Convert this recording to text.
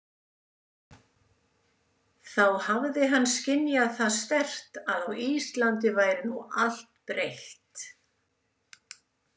Þá hafði hann skynjað það sterkt að á Íslandi væri nú allt breytt.